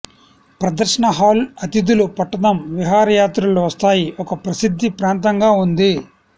ప్రదర్శన హాల్ అతిథులు పట్టణం విహారయాత్రలు వస్తాయి ఒక ప్రసిద్ధ ప్రాంతంగా ఉంది